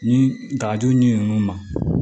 Ni dagajugu ɲinini nunnu ma